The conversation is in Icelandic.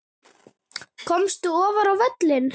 Komist ofar á völlinn?